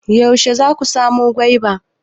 Yaushe za ku samo min gwaiba?